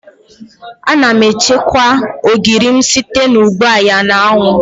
Ana m echekwa ogiri m site n'igba ya n'anwụ.